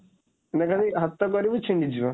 ହାତ କରିବୁ ଛିଣ୍ଡିଯିବ।